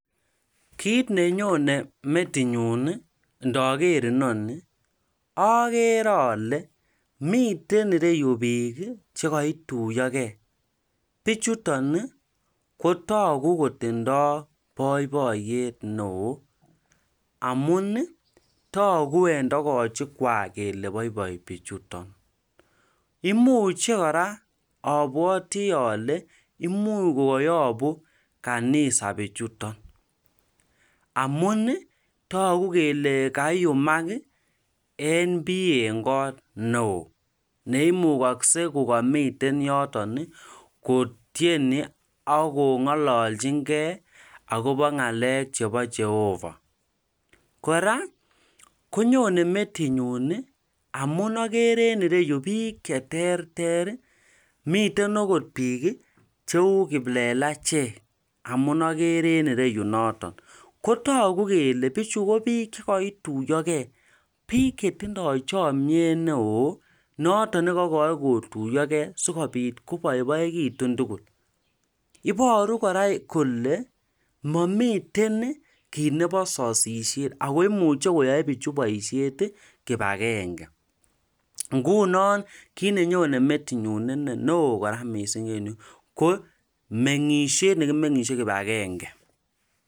Kiit nenyone metitnyun inaker inoni akere ale miten yu piik che kituya ge. Pichuton ko tagu kotindai poipoyet neoo amun tagu en togochikwak kole poipoi pichuton. Imuche kora apwati ale imuch koyapun kanisa pichuton amun tagu kele kaiumak en pii neo kot ne oo ne imukakse ko kamiten yotok kotieni ak kong'alalchingei akopa ng'alek chepo Jehova. Kora konyone metinyun amun agere ene yu piik che terter. Miten agot piik cheu kiplelachek amu agere in ere yu noton. Ko tagu kele ichu ko iik che kaituyagei, piik che tindai chamyet ne oo, notok ne kayae kotuyagei asikoit kopaiaitun tugul. Iparu kole mamiten ki neo sasishet ako imuchi koyae pichu poishet ki agenge. Ngunon kiit nenyonen metinyun ini neo kora missing en yu ko meng'ishet ne kimeng'ishe kip agenge.